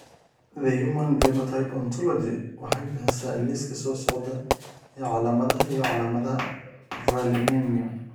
The Human Phenotype Ontology waxay bixisaa liiska soo socda ee calaamadaha iyo calaamadaha Valinemia.